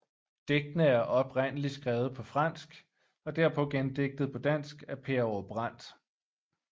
Digtene er oprindeligt skrevet på fransk og derpå gendigtet på dansk af Per Aage Brandt